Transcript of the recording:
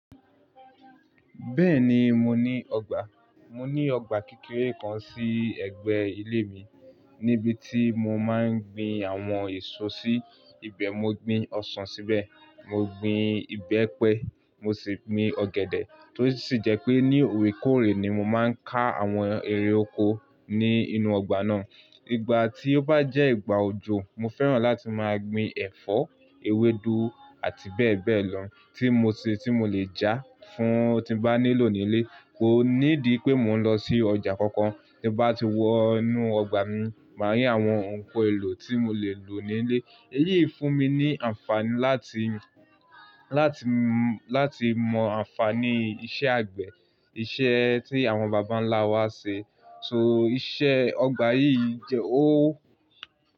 Bẹ́ẹ̀ni, mo ní ọgbà. Mo ní ọgbà kékeré kan sí ẹ̀gbẹ́ ilé mi, níbi tí mo máa ń gbin àwọn èso sí. Ibẹ̀ mo gbin ọsàn síbẹ̀, mo gbin ìbẹ́pẹ, mo sì gbin ọ̀gẹ̀dẹ̀. Tó sì jẹ́ pé ní ore-koore ni mo máa ń ká àwọn ẹrẹ̀ oko ní inú ọgbà náà. Ìgbà tí ó bá jẹ́ ìgbà òjò, mo fẹ́ràn láti máa gbin ẹ̀fọ́, ewédú àti bẹ́ẹ̀ bẹ́ẹ̀ lọ tí mo ṣe tí mo lè jà fún tí bá nílò nílé. Kò ní di pé mò ń lọ sí ọjà kankan. Bí ẹ bá ti wọ inú ọgbà mi, màá rí àwọn nǹkan èlò tí mo lè lò nílé. Èyí fún mi ní àǹfààní láti mọ àǹfààní iṣẹ́ àgbẹ̀, iṣẹ́ tí àwọn bàbá ńlá wa ṣe. So iṣẹ́ ọgbà yìí jẹ ó.